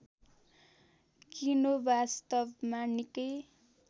कीनो वास्तवमा निकै